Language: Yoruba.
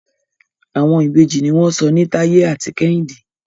Àwọn Ìbejì ní wón sọ ní Taye àti Kehinde.